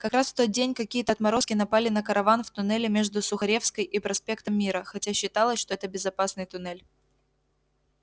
как раз в тот день какие-то отморозки напали на караван в туннеле между сухаревской и проспектом мира хотя считалось что это безопасный туннель